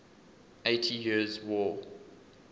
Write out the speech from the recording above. eighty years war